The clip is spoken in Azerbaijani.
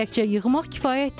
Təkcə yığmaq kifayət deyil.